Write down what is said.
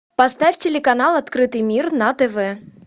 поставь телеканал открытый мир на тв